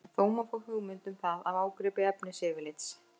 Þó má fá hugmynd um það af ágripi efnisyfirlits.